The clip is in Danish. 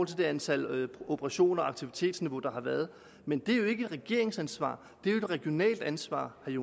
til det antal operationer aktivitetsniveau der har været men det er jo ikke et regeringsansvar det er et regionalt ansvar vil